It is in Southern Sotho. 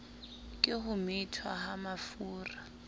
ke ho methwa ha mafura